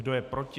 Kdo je proti?